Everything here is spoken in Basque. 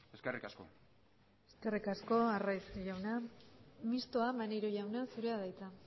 eskerrik asko eskerrik asko arraiz jauna mistoa maneiro jauna zurea da hitza